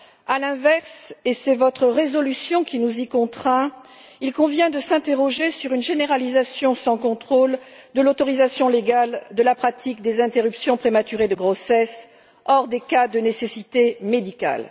À l'inverse, et c'est votre résolution qui nous y contraint, il convient de s'interroger sur une généralisation sans contrôle de l'autorisation légale de la pratique des interruptions prématurées de grossesse, en dehors des cas de nécessité médicale.